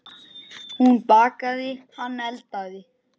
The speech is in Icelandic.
Hún bakaði, hann eldaði.